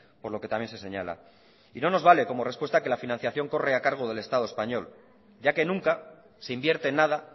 por lo que también se señala y no nos vale como respuesta que la financiación corre a cargo del estado español ya que nunca se invierte nada